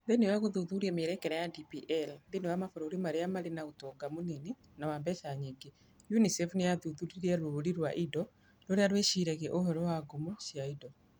Thĩinĩ wa gũthuthuria mĩerekera ya DPL thĩinĩ wa mabũrũri marĩa marĩ na ũtonga mũnini na wa mbeca nyingĩ, UNICEF nĩ yahũthĩrire rũũri rwa indo rũrĩa rwĩciriaga ũhoro wa ngumo cia indo.